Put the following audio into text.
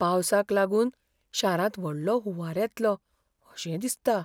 पावसाक लागून शारांत व्हडलो हुंवार येतलो अशें दिसता.